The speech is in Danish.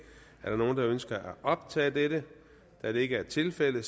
er der nogen der ønsker at optage dette da det ikke er tilfældet